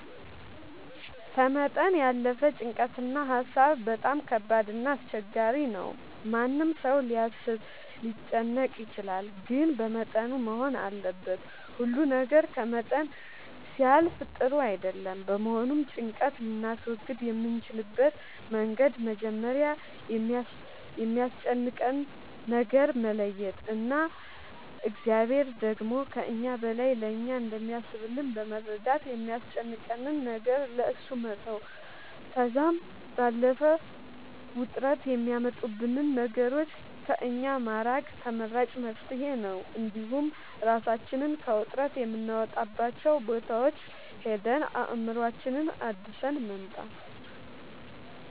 ከመጠን ያለፈ ጭንቀት እና ሀሳብ በጣም ከባድ እና አስቸጋሪ ነው ማንም ሰው ሊያስብ ሊጨነቅ ይችላል ግን በመጠኑ መሆን አለበት ሁሉ ነገር ከመጠን ሲያልፍ ጥሩ አይደለም በመሆኑም ጭንቀት ልናስወግድ የምንችልበት መንገድ መጀመሪያ የሚያስጨንቀንን ነገር መለየት እና እግዚአብሔር ደግሞ ከእኛ በላይ ለእኛ እንደሚያስብልን በመረዳት የሚያስጨንቀንን ነገር ለእሱ መተው ከዛም ባለፈ ውጥረት የሚያመጡብንን ነገሮች ከእኛ ማራቅ ተመራጭ መፍትሄ ነው እንዲሁም እራሳችንን ከውጥረት የምናወጣባቸው ቦታዎች ሄደን አእምሮአችንን አድሰን መምጣት